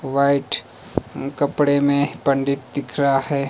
White कपड़े में पंडित दिख रहा है।